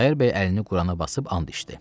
Xudayar bəy əlini Qurana basıb and içdi.